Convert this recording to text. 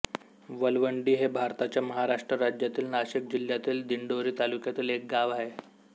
विलवंडी हे भारताच्या महाराष्ट्र राज्यातील नाशिक जिल्ह्यातील दिंडोरी तालुक्यातील एक गाव आहे